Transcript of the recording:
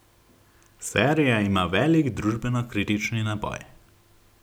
Serija ima velik družbeno kritični naboj.